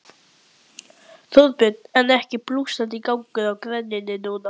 Þorbjörn: En er ekki blússandi gangur á greininni núna?